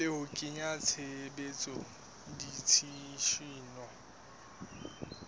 le ho kenya tshebetsong ditshisinyo